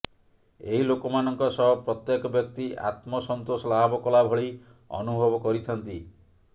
ଏହି ଲୋକମାନଙ୍କ ସହ ପ୍ରତ୍ୟେକ ବ୍ୟକ୍ତି ଆତ୍ମ ସନ୍ତୋଷ ଲାଭ କଲାଭଳି ଅନୁଭବ କରିଥାନ୍ତି